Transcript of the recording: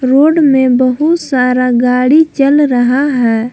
Road में बहुत सारा गाड़ी चल रहा है।